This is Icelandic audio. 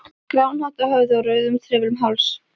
gráan hatt á höfði og rauðan trefil um háls.